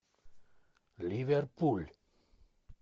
ливерпуль